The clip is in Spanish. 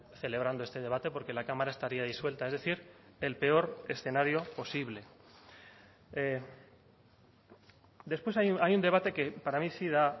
celebrando este debate porque la cámara estaría disuelta es decir el peor escenario posible después hay un debate que para mí sí da